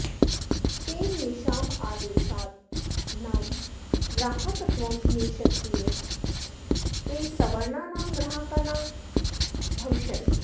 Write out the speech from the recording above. तेन येषामादेशादीनां ग्राहकत्वं नेष्यते ते सवर्णानां ग्राहका न भविष्यन्ति